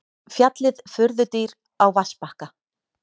Fjallið furðudýr á vatnsbakka.